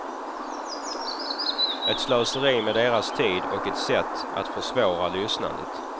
Ett slöseri med deras tid och ett sätt att försvåra lyssnandet.